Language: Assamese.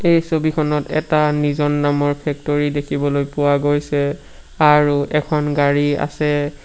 এই ছবিখনত এটা নিজন নামৰ ফেক্টৰী দেখিবলৈ পোৱা গৈছে আৰু এখন গাড়ী আছে।